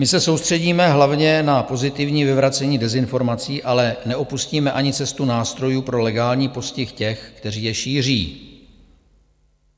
My se soustředíme hlavně na pozitivní vyvracení dezinformací, ale neopustíme ani cestu nástrojů pro legální postih těch, kteří je šíří.